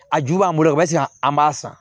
A ju b'an bolo o bɛ se ka an b'a san